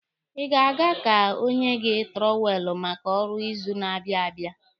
Ị ga-aga ka o nye gị tụrọwelụ maka ọrụ ịzụ na-abịa abịa.